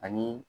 Ani